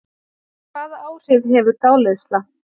Hvaða áhrif hefur dáleiðsla?